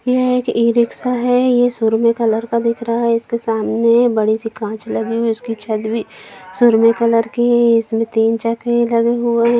ये एक ई-रिक्शा है ये सुरमे कलर का दिख रहा है इसके सामने बड़ी सी कांच लगी हैं उसकी छत भी सुरमे कलर की हैं इस में तीन चक्खे लगे हुए हैं।